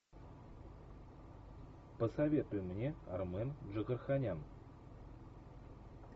посоветуй мне армен джигарханян